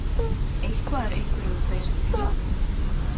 Eitthvað er einhverjum beisk pilla